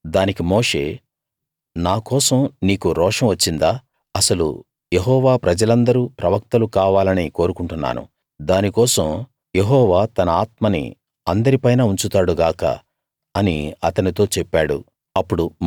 దానికి మోషే నా కోసం నీకు రోషం వచ్చిందా అసలు యెహోవా ప్రజలందరూ ప్రవక్తలు కావాలని కోరుకుంటున్నాను దాని కోసం యెహోవా తన ఆత్మని అందరి పైనా ఉంచుతాడు గాక అని అతనితో చెప్పాడు